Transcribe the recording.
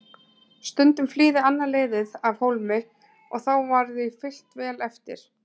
Stundum flýði annað liðið af hólmi og þá var því fylgt vel eftir.